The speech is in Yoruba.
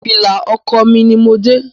Fìlà ọkọ mí ní mo dé.